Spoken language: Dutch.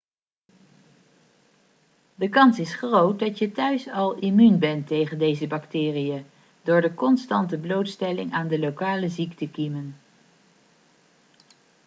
de kans is groot dat je thuis al immuun bent tegen deze bacteriën door de constante blootstelling aan de lokale ziektekiemen